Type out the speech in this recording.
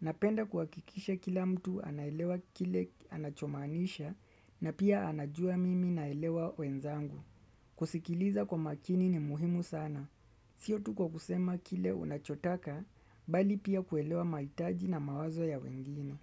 Napenda kuhakikisha kila mtu anaelewa kile anachomanisha na pia anajua mimi naelewa wenzangu. Kusikiliza kwa makini ni muhimu sana. Sio tuko kusema kile unachotaka, mbali pia kuelewa mahitaji na mawazo ya wengine.